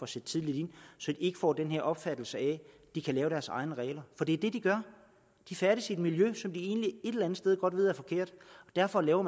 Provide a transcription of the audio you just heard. sætte tidligt ind så de ikke får den her opfattelse af at de kan lave deres egne regler for det er det de gør de færdes i et miljø som de egentlig et eller andet sted godt ved og derfor laver